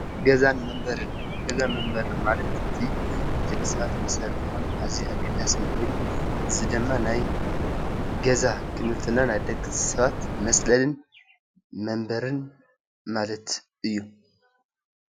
ገዛን መንበርን:ገዛን መንበሪን ማለት ንደቂ ሰባት መሰረታውን ኣዝዩ ኣገዳሲን ኮይኑ እዚ ድማ ናይ ገዛ ክንብል እንተለና ናይ ደቂ ሰባትመፅለልን መንበሪን ማለት እዩ።